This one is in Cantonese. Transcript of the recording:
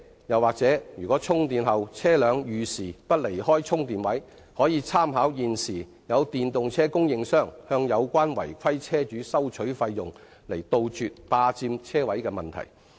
又如車輛充電後遲遲不離開充電位，可參考電動車供應商向有關違規車主收取費用的做法，以杜絕霸佔車位的問題。